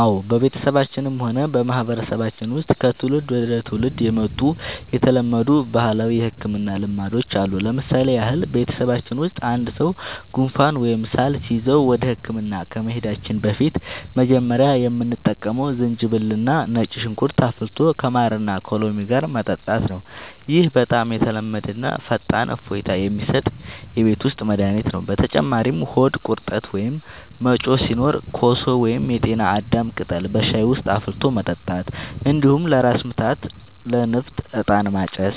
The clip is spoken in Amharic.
አዎ፣ በቤተሰባችንም ሆነ በማህበረሰባችን ውስጥ ከትውልድ ወደ ትውልድ የመጡ የተለመዱ ባህላዊ የሕክምና ልማዶች አሉ። ለምሳሌ ያህል፣ በቤተሰባችን ውስጥ አንድ ሰው ጉንፋን ወይም ሳል ሲይዘው ወደ ሕክምና ከመሄዳችን በፊት መጀመሪያ የምንጠቀመው ዝንጅብልና ነጭ ሽንኩርት አፍልቶ ከማርና ከሎሚ ጋር መጠጣት ነው። ይህ በጣም የተለመደና ፈጣን እፎይታ የሚሰጥ የቤት ውስጥ መድኃኒት ነው። በተጨማሪም ሆድ ቁርጠት ወይም መጮህ ሲኖር ኮሶ ወይም የጤና አዳም ቅጠል በሻይ ውስጥ አፍልቶ መጠጣት፣ እንዲሁም ለራስ ምታትና ለንፍጥ «ዕጣን ማጨስ»